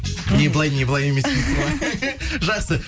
не былай не былай емес дейсіз ғой жақсы